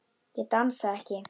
Ég dansa ekki.